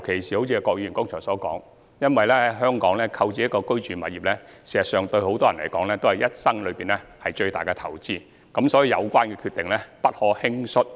正如郭議員剛才所說，在香港購置一個住宅物業，事實上對很多人來說都是畢生最大的投資，所以有關決定不可輕率。